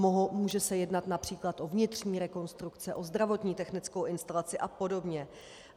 Může se jednat například o vnitřní rekonstrukce, o zdravotní technickou instalaci a podobně.